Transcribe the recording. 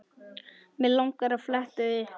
Mig langar að fletta upp.